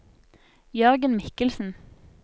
Jørgen Michelsen